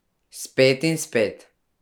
Spet in spet.